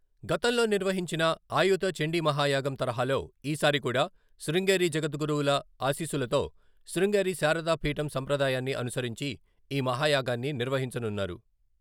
గతంలో నిర్వహించిన ఆయుత చండీమహాయాగం తరహాలో ఈ సారి కూడా శృంగేరి జగద్గురువుల ఆశీస్సులతో శృంగేరి శారదా పీఠం సంప్రదాయాన్ని అనుసరించి ఈ మహాయాగాన్ని నిర్వహించనున్నారు.